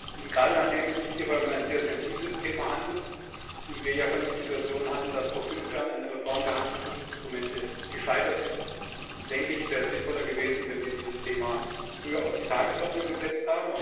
Und gerade weil es sich hierbei um ein sehr sensibles Thema handelt und wir ja schon die Situation hatten, dass vor fünf Jahren eine Reform der Handelsschutzinstrumente gescheitert ist, wäre es sinnvoller gewesen, wenn wir dieses Thema früher auf die Tagesordnung gesetzt